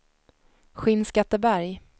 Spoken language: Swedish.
Skinnskatteberg